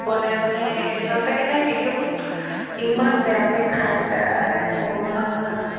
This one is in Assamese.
বনাই বনাই সঁচ্চাকে তাইৰ video বোৰ ইম্মান বেয়াকে খাই তাই ভগৱান